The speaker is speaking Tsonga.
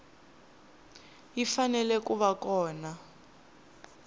yi fanele ku va kona